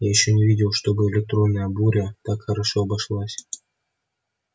я ещё не видел чтобы электронная буря так хорошо обошлась